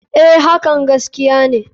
A.hakan gaskiya ne.